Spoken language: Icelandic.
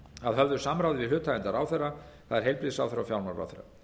að höfðu samráði við hlutaðeigandi ráðherra það er heilbrigðisráðherra og fjármálaráðherra